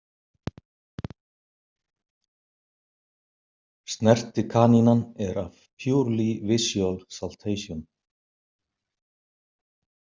Snertikanínan er af Purely visual saltation.